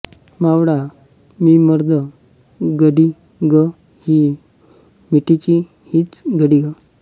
मावळा मी मर्द गडी गं ही मिठीची हीच घडी गं